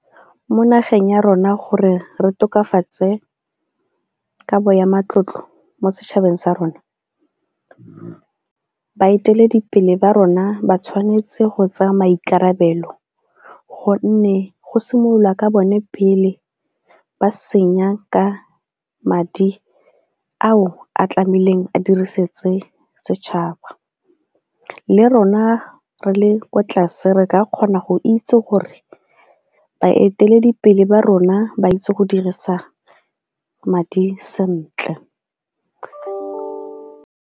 Mo nageng ya rona gore re tokafatse kabo ya matlotlo mo setšhabeng sa rona, baeteledipele ba rona ba tshwanetse go tsaya maikarabelo gonne go simolola ka bone pele ba senya ka madi ao a tlamehileng a diriseditse setšhaba le rona re le kwa tlase re ka kgona go itse gore baeteledipele ba rona ba itse go dirisa madi sentle.